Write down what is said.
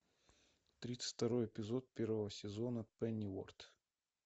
тридцать второй эпизод первого сезона пенниуорт